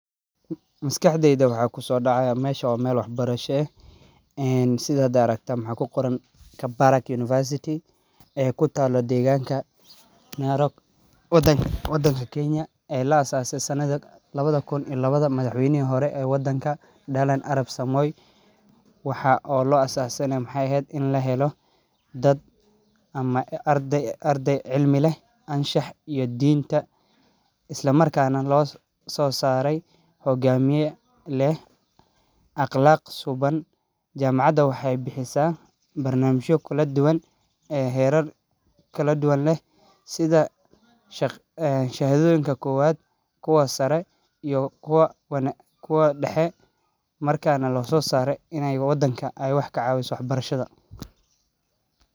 Maskaxdeyda waxaa kusoo dacaaya meeshan waa meel wax barasha madax weynaha hore ayaa fure in la helo ardeey cilmi leh isla markaana laga soo saaro hogamiye iyo akhlaqa suban wxaay bixisa shahadoyin aqoonsi.